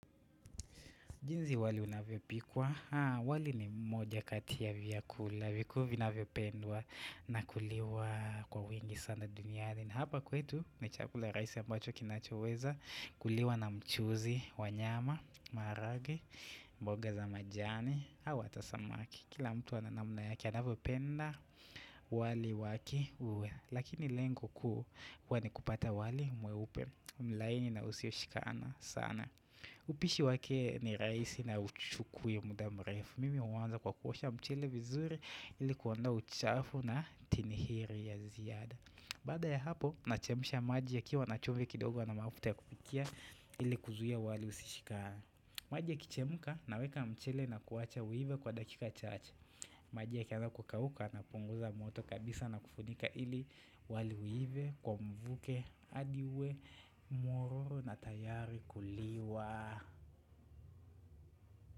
Jinsi wali unavyo pikwa, wali ni moja kati ya vya kula, vikuu vina vyo pendwa na kuliwa kwa wingi sana duniani. Hapa kwetu, ni chakula rahisi ambacho kinacho weza, kuliwa na mchuzi, wanyama, maharagwe, mboga za majani, au hata samaki. Kila mtu ananamna yake anavyo penda, wali wake uwe. Lakini lengo kuu ni kupata wali mweupe, mlaini na usio shikana sana. Upishi wake ni rahisi na huchuki muda mrefu Mimi huanza kwa kuosha mchele vizuri ili kuondoa uchafu na tinihiri ya ziada Baada ya hapo, nachemsha maji yakiwa na chumvi kidogo na mafuta ya kupikia ili kuzuia wali usishikane maji ya kichemuka, naweka mchele na kuwacha uive kwa dakika chache maji ya kianza kukauka, napunguza moto kabisa na kufunika ili wali uive, kwa mvuke, hadi uwe, mororo na tayari kuliwa.